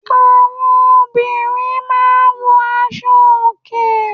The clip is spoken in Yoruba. Àwọn obìnrin máa ń wọ aṣo òkè.